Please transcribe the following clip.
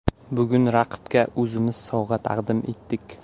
Bugun raqibga o‘zimiz sovg‘a taqdim etdik.